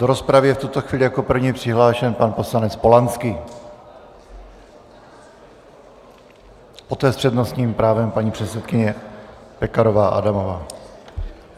Do rozpravy je v tuto chvíli jako první přihlášen pan poslanec Polanský, poté s přednostním právem paní předsedkyně Pekarová Adamová.